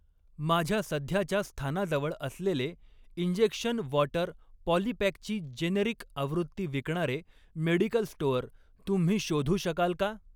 माझ्या सध्याच्या स्थानाजवळ असलेले इंजेक्शन वॉटर पॉलीपॅकची जेनेरिक आवृत्ती विकणारे मेडिकल स्टोअर तुम्ही शोधू शकाल का?